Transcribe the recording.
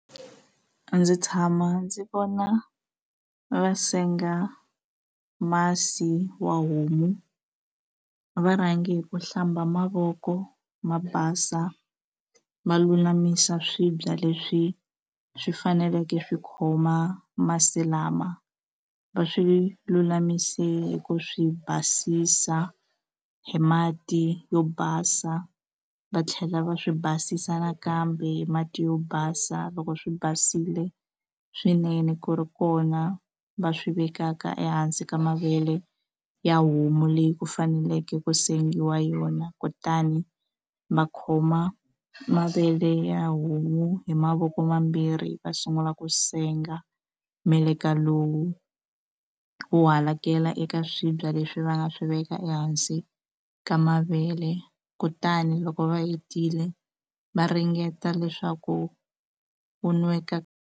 Ndzi tshama ndzi vona va senga masi wa homu va rhange hi ku hlamba mavoko ma basa va lulamisa swibya leswi swi faneleke swi khoma masi lama va swi lulamise hi ku swi basisa hi mati yo basa va tlhela va swi basisa nakambe hi mati yo basa loko swi basile swinene ku ri kona va swi vekaka ehansi ka mavele ya homu leyi ku faneleke ku sengiwa yona kutani va khoma mavele ya homu hi mavoko mambirhi va sungula ku senga meleka lowu wu halakela ka swibya leswi va nga swi veka ehansi ka mavele kutani loko va hetile va ringeta leswaku wu nweka.